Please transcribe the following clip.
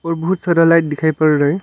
और बहुत सारा लाइट दिखाई पड़ रहा है।